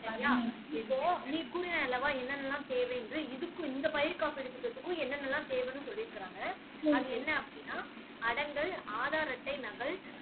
இப்போ நீ கூறினாய் அல்லவா என்னென்னலாம் தேவை என்று இதுக்கு இந்த பயிர் காப்பீட்டு திட்டத்துக்கும் என்னெல்லாம் தேவைன்னு சொல்லி இருக்காங்க அது என்ன அப்படின்னா அடங்கல் ஆதார் அட்டை நகல்